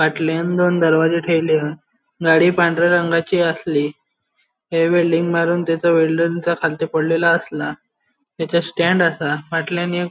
फाटल्याण दोन दरवाजे ठेवले हा गाड़ी पांढऱ्या रंगाची आसली ते वेल्डिंग मारून खालती पडलेला आसला तेचे स्टैन्ड आसा फाटल्याण एक --